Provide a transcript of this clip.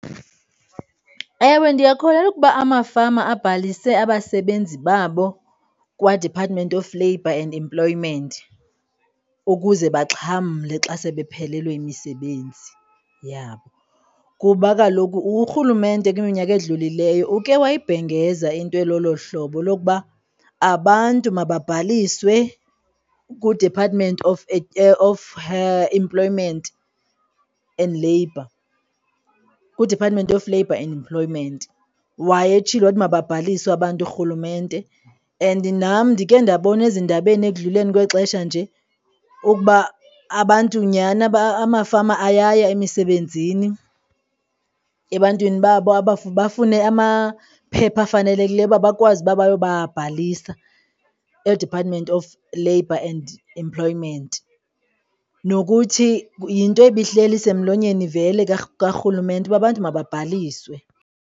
Ewe, ndiyakholelwa ukuba amafama abhalise abasebenzi babo kwaDepartment of Labor and employment ukuze baxhamle xa sebephelelwe yimisebenzi yabo, kuba kaloku urhulumente kwiminyaka edlulileyo uke wayibhengeza into elolo hlobo lokuba abantu mabhaliswe kuDepartment of Employment and Labour, kwiDepartment of Labor and employment. Wayetshilo wathi mababhaliswe abantu urhulumente and nam ndikhe ndabona ezindabeni ekudluleni kwexesha nje ukuba abantu nyhani, amafama ayaya emisebenzini ebantwini babo bafune amaphepha afanelekileyo uba bakwazi uba bayobabhalisa eDepartment of Labor and Employment. Nokuthi yinto ibihleli isemlonyeni vele karhulumente uba bantu mababhaliswe.